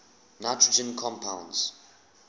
nitrogen compounds